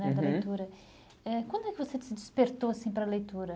Né, da leitura. Eh Quando é que você se despertou assim para a leitura?